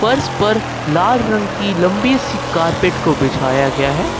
फर्श पर लाल रंग की लंबी सी कारपेट को बिछाया गया है।